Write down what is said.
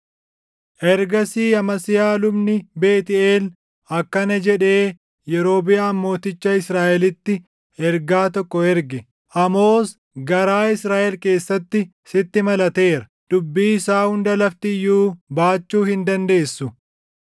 Ergasii Amasiyaa lubni Beetʼeel akkana jedhee Yerobiʼaam mooticha Israaʼelitti ergaa tokko erge; “Amoos garaa Israaʼel keessatti sitti malateera. Dubbii isaa hunda lafti iyyuu baachuu hin dandeessu.